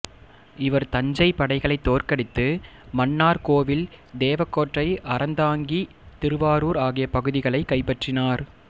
இவா் தஞ்சை படைகளை தோற்கடித்து மன்னாா் கோவில்தேவகோட்டைஅறந்தாங்கிதிருவாரூா் ஆகிய பகுதிகளைக் கைப்பற்றினாா்